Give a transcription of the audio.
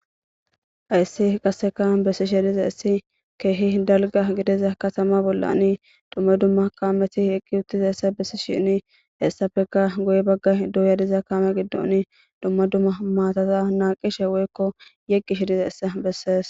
Hayssi qasseka bessi shediza issi keehi dalga gideza katama bollani dumma dumma kaameti eqqi uttiza essa bessi shinni hessafeka goy baggay duuya diza kaame giddoni dumma dumma maatata naaqishe woykko yeqqi shediza issa bessees